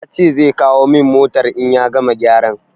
Ya ce zai kawo min motar in ya gama gyaran.